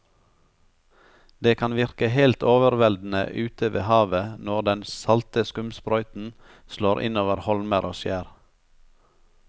Det kan virke helt overveldende ute ved havet når den salte skumsprøyten slår innover holmer og skjær.